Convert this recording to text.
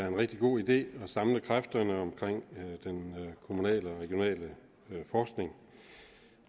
en rigtig god idé at samle kræfterne omkring den kommunale og regionale forskning